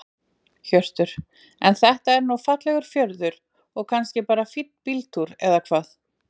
Hjörtur: En þetta er nú fallegur fjörður og kannski bara fínn bíltúr eða hvað?